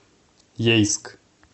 ейск